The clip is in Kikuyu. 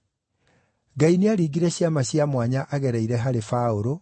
Ngai nĩaringire ciama cia mwanya agereire harĩ Paũlũ,